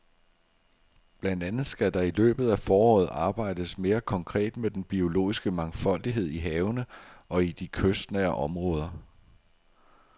Blandt andet skal der i løbet af foråret arbejdes mere konkret med den biologiske mangfoldighed i havene og i de kystnære områder.